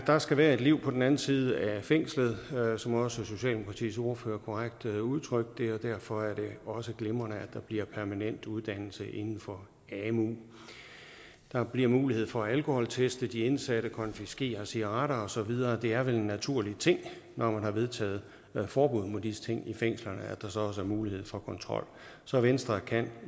der skal være et liv på den anden side af fængslet som også socialdemokratiets ordfører korrekt udtrykte det og derfor er det også glimrende at der bliver permanent uddannelse inden for amu der bliver mulighed for at alkoholteste de indsatte og konfiskere cigaretter og så videre det er vel en naturlig ting når man har vedtaget et forbud mod disse ting i fængslerne at der så også mulighed for kontrol så venstre kan